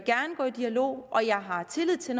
gå i dialog og at jeg har tillid til